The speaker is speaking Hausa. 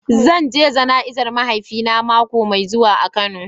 Zan je jana'izar mahaifina mako mai zuwa a kano.